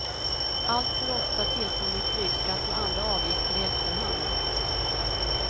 Alltför ofta tillkommer flygskatt och andra avgifter i efterhand.